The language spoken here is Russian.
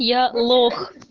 я лох